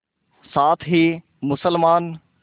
साथ ही मुसलमान